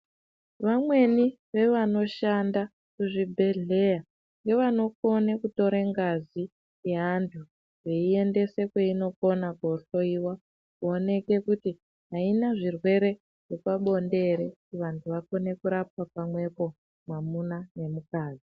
Vamweni vevanoshanda muzvibhedhlera nevanokone kutore ngazi yaantu veiendese kweinokone koohloiwa kuone kuti aina zvirwere zvepabonde ere kuti vantu vakone kurapwa pamwepo mwamuna nemukadzi.